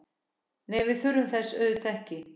Nei, við þurfum þess auðvitað ekki.